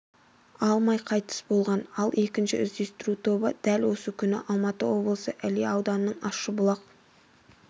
алмай қайтыс болған ал екінші іздестіру тобы дәл осы күні алматы облысы іле ауданының ащыбұлақ